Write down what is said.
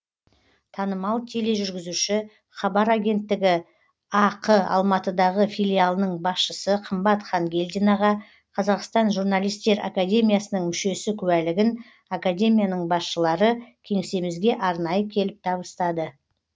танымал тележүргізуші хабар агенттігі ақ алматыдағы филиалының басшысы қымбат хангелдинаға қазақстан журналистер академиясының мүшесі куәлігін академияның басшылары кеңсемізге арнайы келіп табыстады